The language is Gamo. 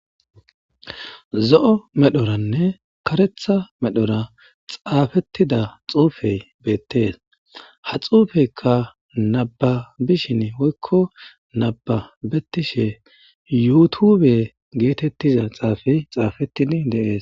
zo7o medhoranne karetha medhora xaafettida xuufey beettees ha xuufeyka naba bishin woykko nababettishe yuutube geetettiza xaafey xaafettin de7ees.